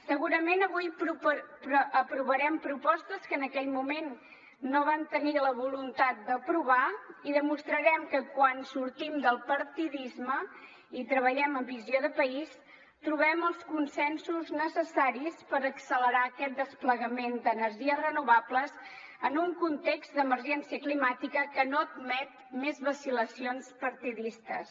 segurament avui aprovarem propostes que en aquell moment no van tenir la voluntat d’aprovar i demostrarem que quan sortim del partidisme i treballem amb visió de país trobem els consensos necessaris per accelerar aquest desplegament d’energies renovables en un context d’emergència climàtica que no admet més vacil·lacions partidistes